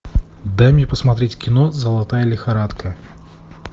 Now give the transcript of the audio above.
дай мне посмотреть кино золотая лихорадка